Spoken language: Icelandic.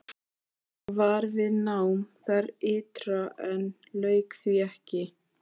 Hann var við nám þar ytra en lauk því ekki.